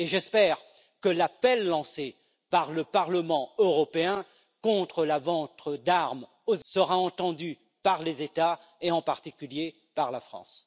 J'espère que l'appel lancé par le Parlement européen contre la vente d'armes sera entendu par les États et en particulier par la France.